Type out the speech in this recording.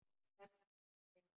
Það kann ekki að stela.